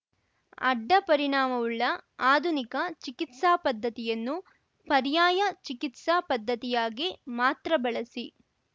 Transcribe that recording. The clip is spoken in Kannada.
ಅಡ್ಡ ಪರಿಣಾಮವುಳ್ಳ ಆಧುನಿಕ ಚಿಕಿತ್ಸಾ ಪದ್ಧತಿಯನ್ನು ಪರ್ಯಾಯ ಚಿಕಿತ್ಸಾ ಪದ್ಧತಿಯಾಗಿ ಮಾತ್ರ ಬಳಸಿ